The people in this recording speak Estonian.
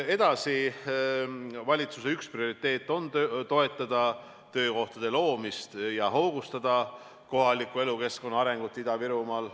Edasi, valitsuse üks prioriteete on toetada töökohtade loomist ja hoogustada kohaliku elukeskkonna arengut Ida-Virumaal.